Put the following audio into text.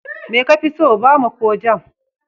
Me kafi so, Bama ko Jam?